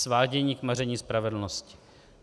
Svádění k maření spravedlnosti.